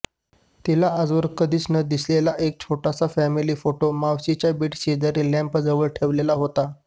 तिला आजवर कधीच न दिसलेला एक छोटासा फॅमिली फोटो मावशीच्या बेडशेजारी लॅम्पजवळ ठेवलेला होता